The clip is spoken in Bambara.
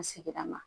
An seginna ma